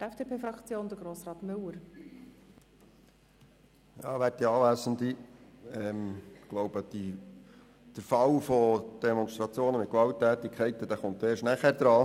Ich denke, das Thema «Demonstrationen mit Gewalttätigkeiten» kommt erst nachher dran.